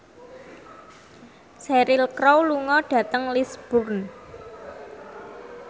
Cheryl Crow lunga dhateng Lisburn